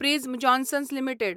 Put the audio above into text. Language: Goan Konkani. prism Johnson limited